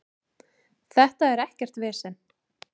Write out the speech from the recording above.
Þetta er ekkert vesen.